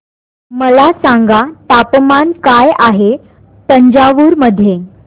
मला सांगा तापमान काय आहे तंजावूर मध्ये